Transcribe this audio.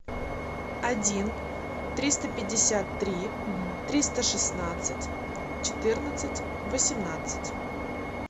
один триста пятьдесят три триста шестнадцать четырнадцать восемнадцать